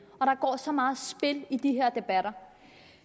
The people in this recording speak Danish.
og så meget spil i de her debatter